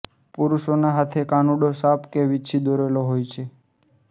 પુરુષોના હાથે કાનુડો સાપ કે વિંછી દોરેલ હોય છે